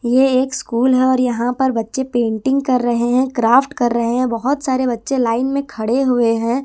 ये एक स्कूल है और यहां पर बच्चे पेंटिंग कर रहे है क्राफ्ट कर रहे है बहोत सारे बच्चे लाइन में खड़े हुए है।